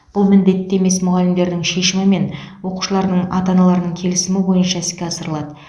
бұл міндетті емес мұғалімдердің шешімі мен оқушылардың ата аналарының келісімі бойынша іске асырылады